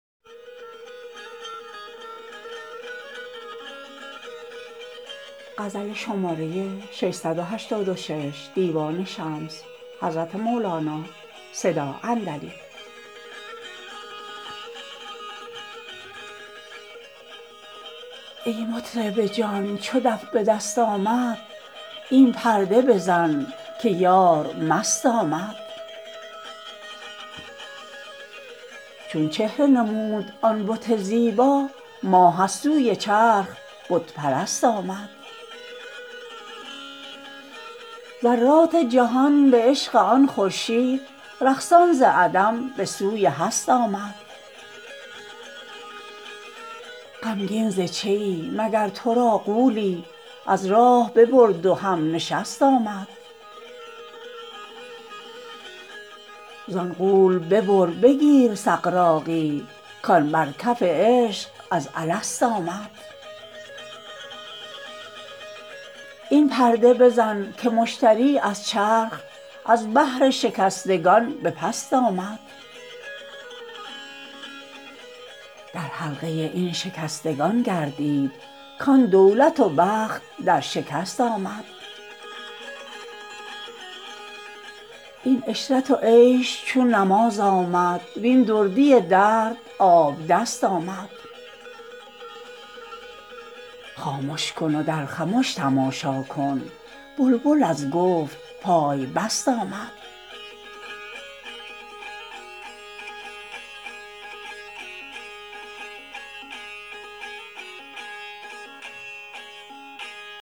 ای مطرب جان چو دف به دست آمد این پرده بزن که یار مست آمد چون چهره نمود آن بت زیبا ماه از سوی چرخ بت پرست آمد ذرات جهان به عشق آن خورشید رقصان ز عدم به سوی هست آمد غمگین ز چیی مگر تو را غولی از راه ببرد و همنشست آمد زان غول ببر بگیر سغراقی کان بر کف عشق از الست آمد این پرده بزن که مشتری از چرخ از بهر شکستگان به پست آمد در حلقه این شکستگان گردید کان دولت و بخت در شکست آمد این عشرت و عیش چون نماز آمد وین دردی درد آبدست آمد خامش کن و در خمش تماشا کن بلبل از گفت پای بست آمد